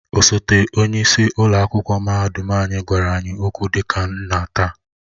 Osote onye isi ụlọ akwụkwọ mahadum anyị gwara anyị okwu dị ka nna taa